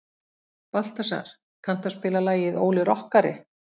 Baltasar, kanntu að spila lagið „Óli rokkari“?